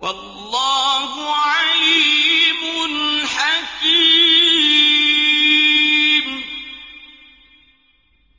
وَاللَّهُ عَلِيمٌ حَكِيمٌ